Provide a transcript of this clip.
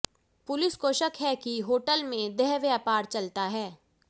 police को शक है कि होटल में देह व्यापार चलता है